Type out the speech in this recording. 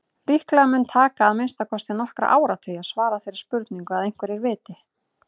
Líklega mun taka að minnsta kosti nokkra áratugi að svara þeirri spurningu að einhverju viti.